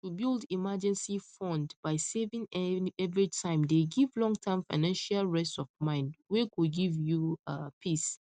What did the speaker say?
to build emergency fund by saving everytime dey give longterm financial rest of mind wey go give you um peace